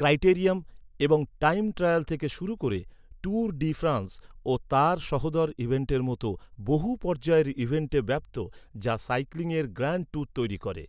ক্রাইটেরিয়াম, এবং time trial থেকে শুরু করে ট্যুর ডি ফ্রান্স ও তার সহোদর ইভেন্টের মতো বহু পর্যায়ের ইভেন্টে ব্যাপ্ত, যা সাইক্লিংয়ের গ্র্যান্ড ট্যুর তৈরি করে।